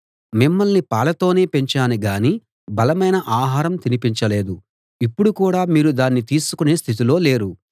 మిమ్మల్ని పాలతోనే పెంచాను గాని బలమైన ఆహారం తినిపించలేదు ఇప్పుడు కూడా మీరు దాన్ని తీసుకునే స్థితిలో లేరు